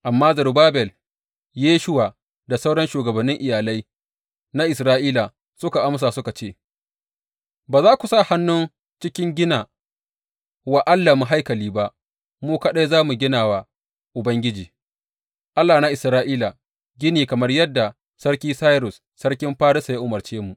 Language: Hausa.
Amma Zerubbabel, Yeshuwa, da sauran shugabannin iyalai na Isra’ila suka amsa suka ce, Ba za ku sa hannu cikin gina wa Allahnmu haikali ba, mu kaɗai za mu gina wa Ubangiji, Allah na Isra’ila gini kamar yadda Sarki Sairus, sarkin Farisa, ya umarce mu.